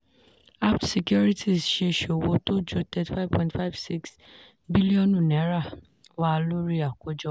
apt securities ṣe ṣòwò tó ju thirty five thirty five six bílíọ̀nù náírà wà lórí àkójọ.